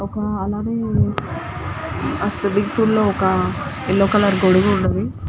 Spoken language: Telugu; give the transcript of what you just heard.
ఓకే అలలలో బిగ్ పూల్ లో ఒక యెల్లో కలర్ గొడుగు వున్నది.